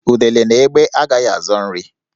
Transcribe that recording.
Udele na egbé agaghị azọ nri